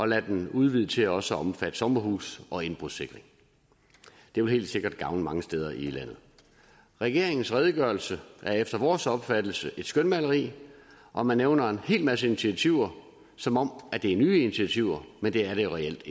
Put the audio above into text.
lade den udvide til også at omfatte sommerhuse og indbrudssikring det vil helt sikkert gavne mange steder i landet regeringens redegørelse er efter vores opfattelse et skønmaleri og man nævner en hel masse initiativer som om det er nye initiativer men det er det reelt